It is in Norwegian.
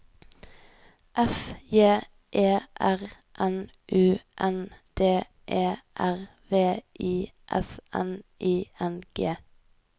F J E R N U N D E R V I S N I N G